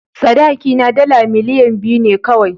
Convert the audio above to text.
Sadakina dala miliyan biyu ne kawai.